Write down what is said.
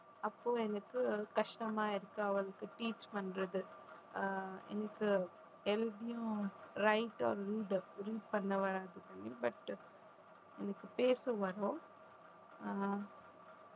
அப்போ எனக்கு கஷ்டமா இருக்கு அவளுக்கு teach பண்றது, எனக்கு எழுதியும் but எனக்கு பேச வரும் அஹ்